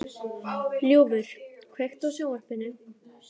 Ljúfur, kveiktu á sjónvarpinu.